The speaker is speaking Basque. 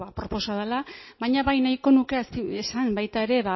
aproposa dela baina bai nahiko nuke esan baita ere